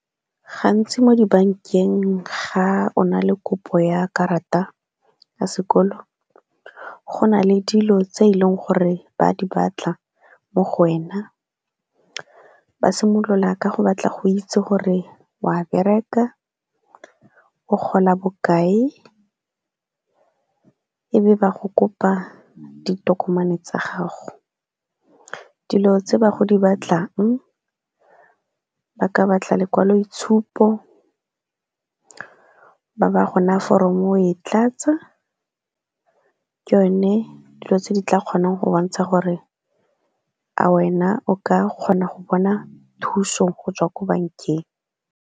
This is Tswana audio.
Gantsi mo dibankeng ga o na le kopo ya karata ya sekolo, go na le dilo tse eleng gore ba di batla mo go wena. Ba simolola ka go batla go itse gore wa bereka, o gola bokae, e be ba go kopa ditokomane tsa gago. Dilo tse ba go di batlang, ba ka go batla lekwaloitshupo, ba ba go naya foromo o e tlatsa, ke yone dilo tse di tla kgonang go bontsha gore a wena o ka kgona go bona thuso go tswa ko bankeng.